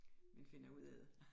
Man finder ud af det